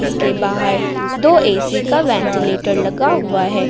इसके बाहर दो ए_सी का वेंटीलेटर लगा हुआ है।